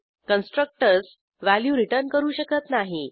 constructors value return करू शकत नाही